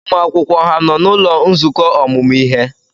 Ụmụ akwụkwọ ha nọ n'ụlọ nzukọ ọmụmụ ihe?